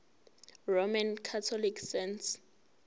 roman catholic saints